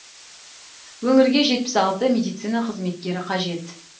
өңірге жетпіс алты медицина қызметкері қажет